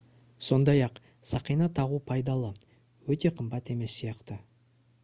сондай-ақ сақина тағу пайдалы өте қымбат емес сияқты